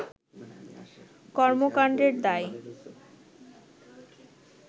কর্মকান্ডের দায়